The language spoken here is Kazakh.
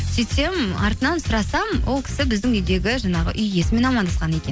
сөйтсем артынан сұрасам ол кісі біздің үйдегі жаңағы үй иесімен амандасқан екен